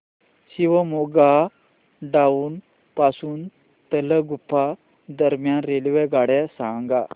Shivamogga town पासून तलगुप्पा दरम्यान रेल्वेगाड्या सांगा